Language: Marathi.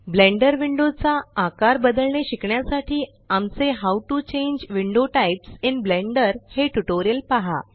ब्लेंडर विंडो चा आकार बदलणे शिकण्यासाठी आमचे how to change window types in Blender हे ट्यूटोरियल पहा